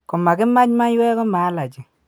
Komakimach maywek koma allergy.